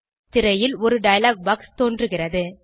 திரையில் ஒரு dialogue box தோன்றுகிறது